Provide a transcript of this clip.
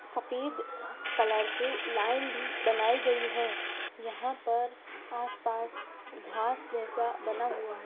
सफ़ेद कलर से लाइन भी बनाई गई है यहाँ पर आस-पास घास जैसा बना हुआ --